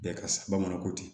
Bɛɛ ka sa bamanan ko ten